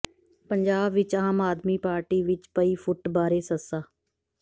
ਪੰਜਾਬ ਵਿਚ ਆਮ ਆਦਮੀ ਪਾਰਟੀ ਵਿਚ ਪਈ ਫੁੱਟ ਬਾਰੇ ਸ